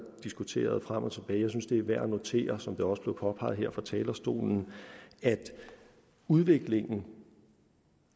diskuteret frem og tilbage jeg synes det er værd at notere som det også påpeget her fra talerstolen at udviklingen